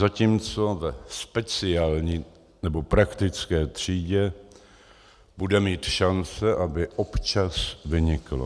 Zatímco ve speciální nebo praktické třídě bude mít šanci, aby občas vyniklo.